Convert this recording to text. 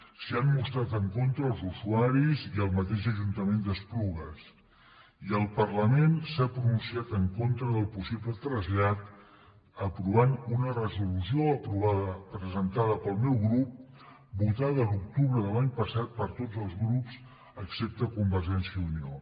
s’hi han mostrat en contra els usuaris i el mateix ajuntament d’esplugues i el parlament s’ha pronunciat en contra del possible trasllat aprovant una resolució presentada pel meu grup votada a l’octubre de l’any passat per tots els grups excepte convergència i unió